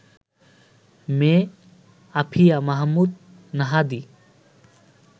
মেয়ে আফিয়া মাহমুদ নাহাদী